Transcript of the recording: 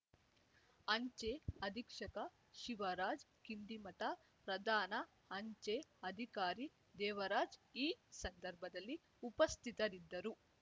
ಅಂಚೆ ಅಧೀಕ್ಷಕ ಶಿವರಾಜ ಕಿಂಡಿಮಠ ಪ್ರಧಾನ ಅಂಚೆ ಅಧಿಕಾರಿ ದೇವರಾಜ್‌ ಈ ಸಂದರ್ಭದಲ್ಲಿ ಉಪಸ್ಥಿತರಿದ್ದರು